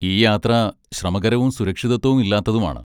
ഈ യാത്ര ശ്രമകരവും സുരക്ഷിതത്വം ഇല്ലാത്തതുമാണ്.